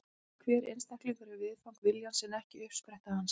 Hver einstaklingur er viðfang viljans en ekki uppspretta hans.